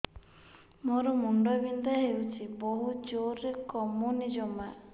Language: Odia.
ମୋର ମୁଣ୍ଡ ବିନ୍ଧା ହଉଛି ବହୁତ ଜୋରରେ କମୁନି ଜମା